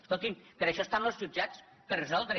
escoltin per això estan los jutjats per resoldre